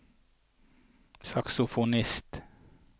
saksofonist